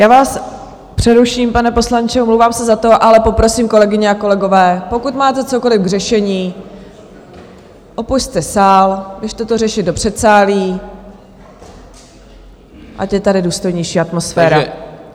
Já vás přeruším, pane poslanče, omlouvám se za to, ale poprosím, kolegyně a kolegové, pokud máte cokoliv k řešení, opusťte sál, běžte to řešit do předsálí, ať je tady důstojnější atmosféra.